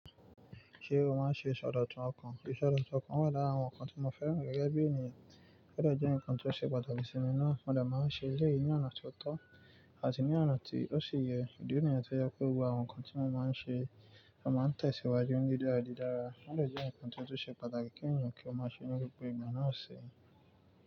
Ṣé o máa ń ṣe isodotun ọkàn? Isodotun ọkàn wà lára àwọn nǹkan tí mo fẹ́ràn gẹ́gẹ́ bí ènìyàn. Oo de je, ǹkan tó ṣe pàtàkì sí mi náà mo dẹ̀ máa ń ṣe. Elẹ́yì ní ọ̀nà tó tọ́ àti ní ọ̀nà tí ó ṣi yẹ. Idi nìyẹn tí ó jẹ pe gbogbo àwọn nǹkan tí mo máa ń ṣe, mo máa ń tẹ̀ síwájú ní dídàrádìdára. Ó dẹ̀ jẹ́ ǹkan tó ṣe pàtàkì kí ènìyàn kí ó máa ṣe ní gbogbo ìgbà náà ṣi.